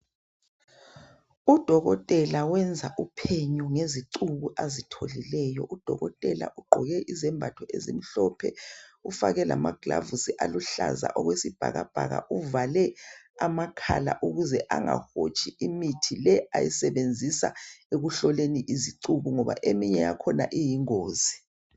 Udokotela wenza uphenyo ngezicuku azitholileyo . Udokotela ugqoke izembatho ezimhlophe, ufake lamagilovisi aluhlaza okwesibhakabhaka. Uvale amakhala ukuze angahotshi imithi le ayisebenzisa ekuhloleni izicuku ngoba eminye yakhona iyingozi.